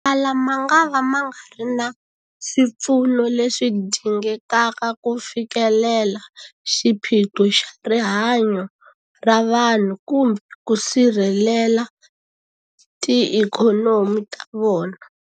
Motala mangava ma nga ri na swipfuno leswi dingekaka ku fikelela xiphiqo xa rihanyu ra vanhu kumbe ku sirhelela tiikhonomi ta vona.